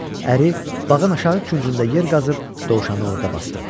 Əri bağın aşağı küncündə yer qazıb dovşanı orada basdırdı.